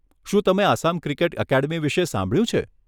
શું તમે Assam cricket academy વિષે સાંભળ્યું છે?